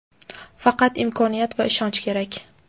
Faqat imkoniyat va ishonch kerak.